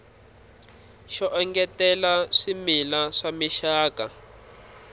xo engetela swimila swa mixaka